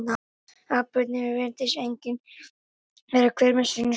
atburðirnir virðist einnig vera hver með sínu sniði